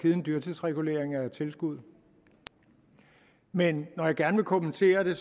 en dyrtidsregulering af tilskuddet men når jeg gerne vil kommentere det